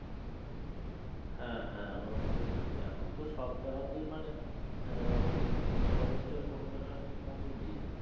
হ্যাঁ হ্যাঁ ওই রকমই হয় তো এখন তো সব জায়গা তেই মানে আহ ওই interest এর পরিমান আরকি কমিয়ে দিয়েছে